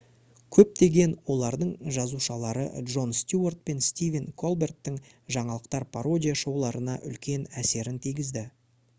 көптеген олардың жазушылары джон стюарт пен стивен колберттің жаңалықтар пародия шоуларына үлкен әсерін тигізді